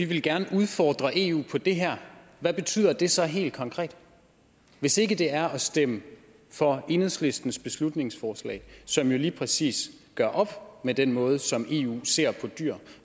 gerne vil udfordre eu på det her hvad betyder det så helt konkret hvis ikke det er at stemme for enhedslistens beslutningsforslag som jo lige præcis gør op med den måde som eu ser på dyr